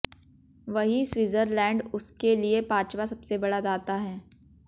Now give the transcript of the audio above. वहीं स्विट्जरलैंड उसके लिए पांचवा सबसे बड़ा दाता है